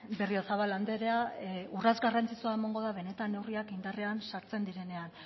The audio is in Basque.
berriozabal andrea urrats garrantzitsua emango da benetan neurriak indarrean sartzen direnean